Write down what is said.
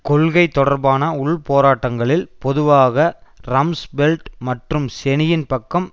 கொள்கை தொடர்பான உள்போராட்டங்களில் பொதுவாக ரம்ஸ்பெல்ட் மற்றும் செனியின் பக்கம்